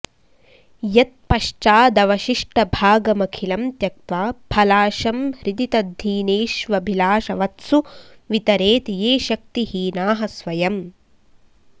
यत्पश्चादवशिष्टभागमखिलं त्यक्त्वा फलाशं हृदि तद्धीनेष्वभिलाषवत्सु वितरेद् ये शक्तिहीनाः स्वयम्